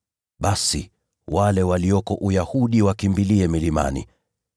basi wale walioko Uyahudi wakimbilie milimani.